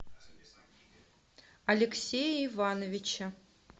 алексее ивановиче